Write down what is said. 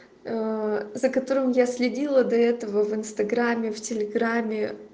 за которым я следила до этого в инстаграме в телеграмме